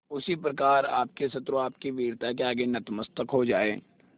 उसी प्रकार आपके शत्रु आपकी वीरता के आगे नतमस्तक हो जाएं